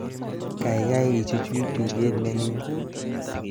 Kaikai ichuch tuget neming